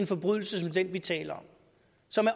forbrydelse som den vi taler